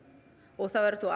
og þá ertu